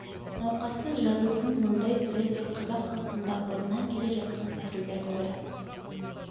науқасты жазудың мұндай түрі де қазақ халқында бұрыннан келе жатқан тәсілдің бірі